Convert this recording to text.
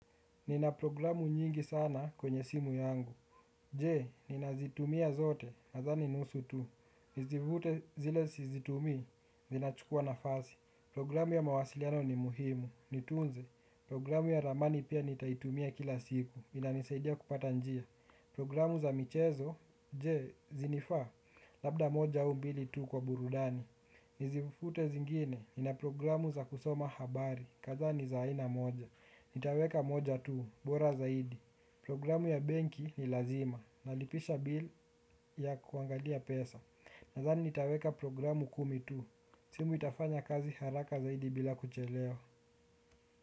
Nina programu nyingi sana kwenye simu yangu. Je, nina zitumia zote nadhani nusu tu. Nizivute zile sizitumii, zinachukua nafasi. Programu ya mawasiliano ni muhimu. Nitunze, programu ya ramani pia nitaitumia kila siku. Inanisaidia kupata njia. Programu za michezo, je, zinifaa? Labda moja au mbili tu kwa burudani. Nizifute zingine, nina programu za kusoma habari. Kadhaa ni za aina moja. Nitaweka moja tu, bora zaidi. Programu ya benki ni lazima. Nalipisha bil ya kuangalia pesa. Nathani nitaweka programu kumi tu simu itafanya kazi haraka zaidi bila kuchelewa.